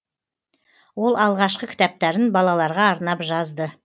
ол алғашқы кітаптарын балаларға арнап жазды